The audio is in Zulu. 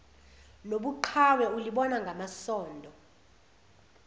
nobuqhawe ulibona ngamasondo